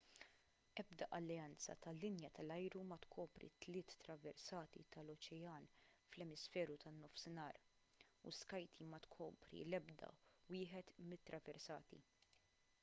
ebda alleanza tal-linja tal-ajru ma tkopri t-tliet traversati tal-oċean fl-emisferu tan-nofsinhar u skyteam ma tkopri l-ebda wieħed mill-traversati